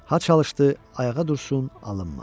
Ha çalışdı ayağa dursun, alınmadı.